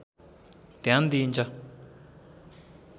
ध्यान दिइन्छ